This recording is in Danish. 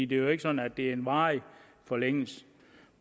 det er jo ikke sådan at det er en varig forlængelse